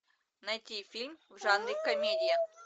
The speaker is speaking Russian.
найти фильм в жанре комедия